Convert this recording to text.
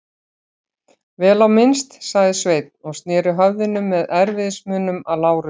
Vel á minnst, sagði Sveinn og sneri höfðinu með erfiðismunum að Lárusi.